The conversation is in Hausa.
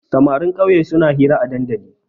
Samarin ƙauye suna hira a dandali.